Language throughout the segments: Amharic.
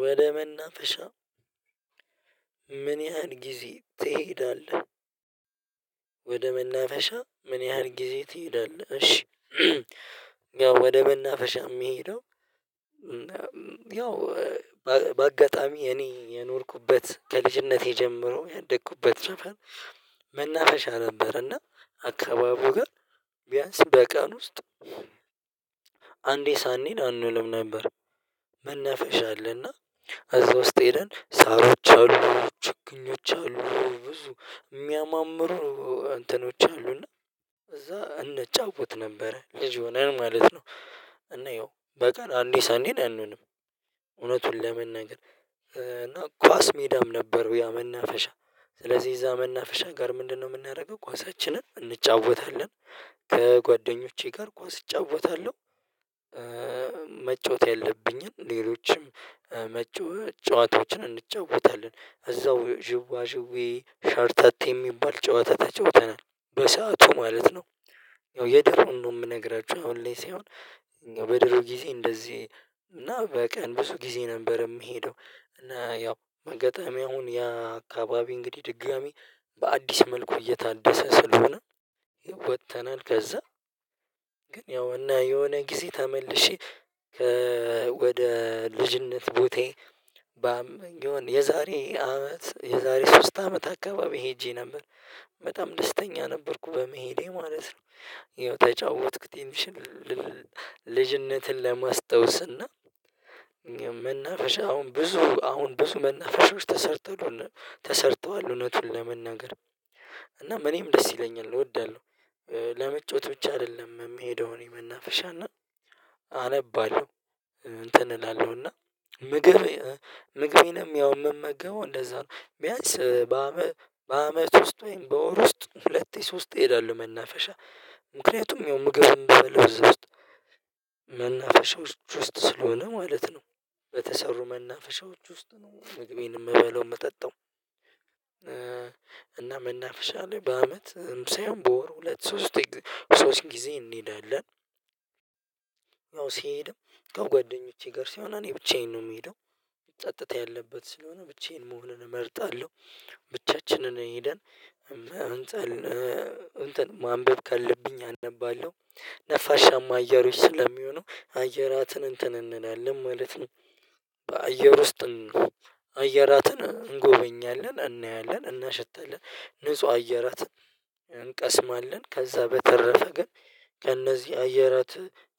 ወደ መናፈሻ ምን ያህል ጊዜ ትሄዳለህ? ወደ መናፈሻ ምን ያህል ጊዜ ትሄዳለህ? እሺ ያው ወደ መናፈሻ የምሄደው። ያው በአጋጣሚ የኔ የኖርኩበት ከልጅነቴ ጀምሮ ያደኩበት ሰፈር መናፈሻ ነበር። እና አካባቢው ጋር ቢያንስ በቀን ውስጥ አንዴ ሳንሄድ አንውልም ነበር። መናፈሻ አለ እና እዛ ውስጥ ሄደን ሳሮች አሉ ችግኞች አሉ ብዙ የሚያማምሩ እንትኖች አሉ እና እዛ እንጫወት ነበረ ልጅ ሆነን ማለት ነው። እና ያው በቀን አንዴ ሳንሄድ አንውልም። እውነቱን ለመናገር እና ኳስ ሜዳም ነበርው ያ መናፈሻ። ስለዚህ እዛ መናፈሻ ጋር ምንድነው የምናደርገው ኳሳችንን እንጫወታለን። ከጓደኞቼ ጋር ኳስ እጫወታለሁ። መጫወት ያለብኝን ሌሎችም መጫወት ጨዋታዎችን እንጫወታለን እዛው ዥዋ ዥዌ ሸርተቴ የሚባል ጨዋታ ተጫውተናል በሰአቱ ማለት ነው። ያው የድሮውን ነው የምነግራችሁ አሁን ላይ ሳይሆን። በድሮ ጊዜ እንደዚህ እና በቀን ብዙ ጊዜ ነበር የምሄደው። እና ያው አጋጣሚ አሁን ያ አካባቢ እንግዲህ ድጋሚ በአዲስ መልኩ እየታደሰ ስለሆነ ወጥተናል ከዛ። ግን ያው እና የሆነ ጊዜ ተመልሼ ከ ወደ ልጅነት ቦታዬ ባም የሆነ የዛሬ አመት የዛሬ ሶስት አመት አካባቢ ሄጄ ነበር። በጣም ደስተኛ ነበርኩ በመሄዴ ማለት ነው። ያው ተጫወትኩት ትንሽም ልጅነትን ለማስታወስ እና መናፍሻ አሁን ብዙ አሁን ብዙ መናፈሻዎች ተሰርተዋል ተሰርተዋል እውነቱን ለመናገር እና እኔም ደስ ይለኛል እወዳለሁ። ለመጫወት ብቻ አይደለም የምሄደው እኔ መናፍሻ እና አነባለሁ እንትን እላለሁ እና ምግብ ምግቤንም ያው የምመገበው እንደዛ ነው። ቢያንስ በአመ በአመት ውስጥ ወይም በወር ውስጥ ሁለቴ ሶስቴ እሄዳለሁ መናፈሻ። ምክንያቱም ያው ምግብም ምበላው እዛ ውስጥ መናፈሻዎች ውስጥ ስለሆነ ማለት ነው። በተሰሩ መናፈሻዎች ውስጥ ነው ምግቤን የምበለው የምጠጣው እና መናፍሻ ላይ በአመት ሳይሆን በወር ሁለት ሶስቴ ሶስት ጊዜ እንሄዳለን። ያው ስሄድም ከጓደኞቼ ጋር ሳይሆን እኔ ብቻዬን ነው የምሄደው። ጸጥታ ያለበት ስለሆነ ብቻዬን መሆንን እመርጣለሁ። ብቻችንን ሄደን እንትን እንትን ማንበብ ካለብኝ አነባለሁ ነፋሻማ አየሮች ስለሚሆኑ አየራትን እንትን እንላለን ማለት ነው። በአየር ውስጥ አየራትን እንጎበኛለን እናያለን እናሸታለን ንጹህ አየራት እንቀስማለን ከዛ በተረፈ ግን ከእነዚህ አየራት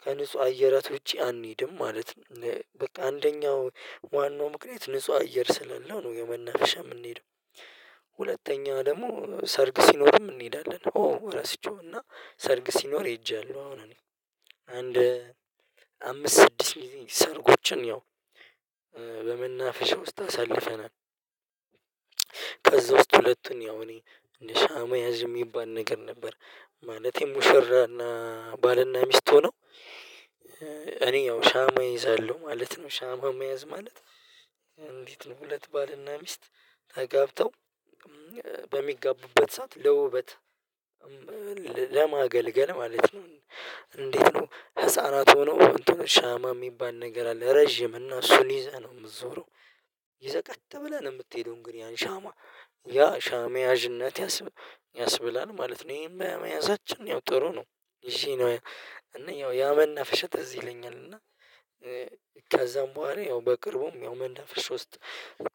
ከንጹህ አየራት ውጪ አንሄድም ማለት ነው። በቃ አንደኛው ዋናው ምክንያት ንጹህ አየር ስላለው ነው የመናፍሻ የምንሄደው። ሁለተኛ ደግሞ ሰርግ ሲኖርም እንሄዳለን ኦ ረስቼው እና ሰርግ ሲኖር ሄጄያለሁ አሁን እኔ አንድ አምስት ስድስት ጊዜ ሰርጎችን ያው በመናፍሻ ውስጥ አሳልፈናል። ከዛ ውስጥ ሁለቱን ያው እኔ እንደ ሻማ ያዥ የሚባል ነገር ነበር ማለቴ ሙሽራ እና ባል እና ሚስት ሆኖ እኔ ያው ሻማ እይዛለሁ ማለት ነው ሻማ መያዝ ማለት። እንዴት ነው ሁለት ባል እና ሚስት ተጋብተው በሚጋቡበት ሰዓት ለውበት ለማገልገል ማለት ነው። እንዴት ነው ህፃናት ሆኖ እንትኖች ሻማ የሚባል ነገር አለ ረጅም እና እሱን ይዘህ ነው የምትዞረው። ይዘህ ቀጥ ብለህ ነው የምትሄደው እንግዲህ ያን ሻማ ያ ሻማ ያዥነት ያስብላል ማለት ነው። ይሄን በመያዛችን ያው ጥሩ ነው። ይዤ ነው እና ያው ያመናፈሻ ትዝ ይለኛል እና ከዛም በኋላ ያው በቅርቡም ያው መናፈሻ ውስጥ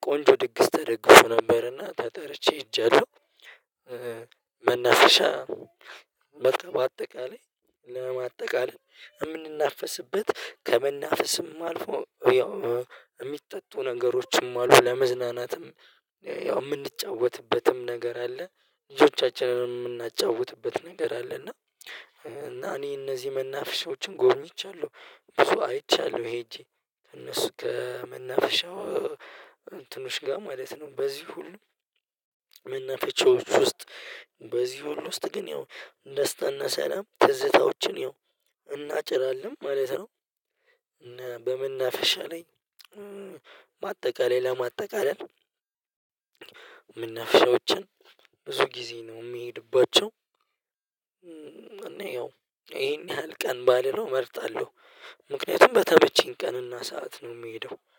ቆንጆ ድግስ ተደግሶ ነበር እና ተጠርቼ ሄጃለሁ። መናፈሻ በቃ በአጠቃላይ ለማጠቃለል የምንናፈስበት ከመናፈስም አልፎ ያው የሚጠጡ ነገሮችንም አሉ ለመዝናናትም ያው የምንጫወትበትም ነገር አለ። ልጆቻችን የምናጫውትበት ነገር አለ እና እኔ እነዚህ መናፍሻዎችን ጎብኝቻለሁ። ብዙ አይቻለሁ ሄጄ እነሱ ከመናፍሻው እንትኖ ጋር ማለት ነው በዚህ ሁሉ መናፍሻዎች ውስጥ በዚህ ሁሉ ውስጥ ግን ያው ደስታ እና ሰላም ትዝታዎችን ያው እናጭራለን ማለት ነው። እና በመናፍሻ ላይ በአጠቃላይ ለማጠቃለል መናፍሻዎችን ብዙ ጊዜ ነው የምሄድባቸው እና ያው ይሄን ያህል ቀን ባልለው እመርጣለሁ። ምክንያቱም በተመቸኝ ቀን እና ሰዓት ነው የምሄደው